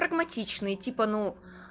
прагматичный типа ну